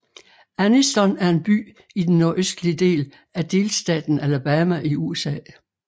Anniston er en by i den nordøstlige del af delstaten Alabama i USA